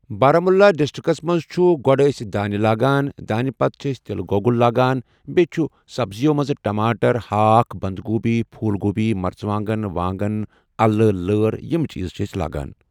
Baramulla districts منٛز چھُ گۄڈٕ أسۍ دانہِ لا گان، دانہِ پَتہٕ چھِ أسۍ تِلہٕ گۄگُل لا گان ، بیٚیہِ چھُ سَبزیو منٛز ٹماٹر ہاکھ بندگوٗبی پھوٗل گوبی مرژَٕوانگن وانگن اَلہٕ لٲر یِم چیٖز چھِ أسۍ لا گان